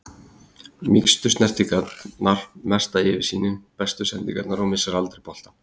Mýkstu snertingarnar, mesta yfirsýnin, bestu sendingarnar og missir aldrei boltann.